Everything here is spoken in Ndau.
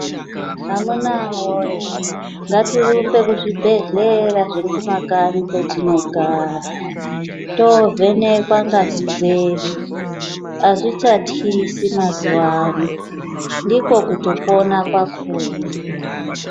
Amunawoye ngatirumbe kuzvibhehlera zviri kumakanyi kwetinogara tovhenekwa ngazi dzedu. Azvichatyisi mazuwano, ndiko kutopona kwakhona.